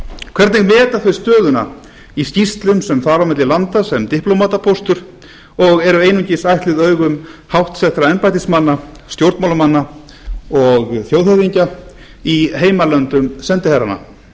hvernig metur það stöðuna í skýrslum sem fara á milli landa sem diplómatapóstur og eru einungis ætluð augum háttsettra embættismanna stjórnmálamanna og þjóðhöfðingja í heimalöndum sendiherranna